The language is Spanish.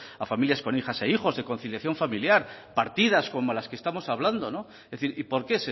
a familias con hijas e hijos en conciliación familiar partidas como las que estamos hablando no es decir y porque